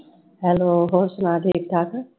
hello ਹੋਰ ਸੁਣਾ ਠੀਕ ਠਾਕ?